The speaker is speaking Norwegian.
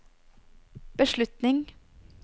beslutning